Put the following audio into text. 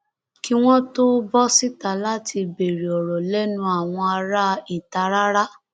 kí wọn tóó bọ síta láti béèrè ọrọ lẹnu àwọn ará ìta rárá